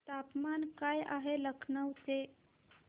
तापमान काय आहे लखनौ चे